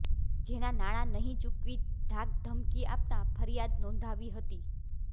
જેના નાણાં નહિ ચૂકવી ધાકધમકી આપતા ફરિયાદ નોંધાવી હતી